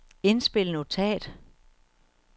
indspil notat